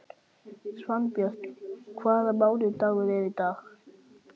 Svanbjört, hvaða mánaðardagur er í dag?